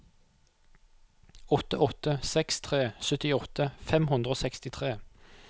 åtte åtte seks tre syttiåtte fem hundre og sekstitre